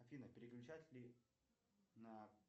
афина переключатели на